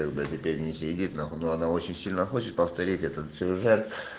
теперь не сидит нахуй но она очень сильно хочет повторить этот сюжет